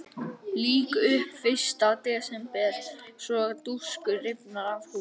Lýk upp fyrsta desember svo dúskur rifnar af húfu.